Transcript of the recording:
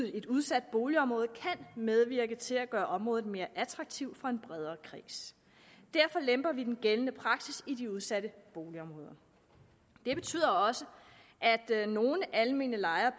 i et udsat boligområde kan medvirke til at gøre området mere attraktivt for en bredere kreds derfor lemper vi den gældende praksis i de udsatte boligområder det betyder også at nogle almene lejere